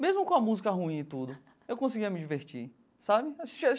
Mesmo com a música ruim e tudo, eu conseguia me divertir, sabe?